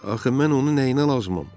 Axı mən onu nəyinə lazımam?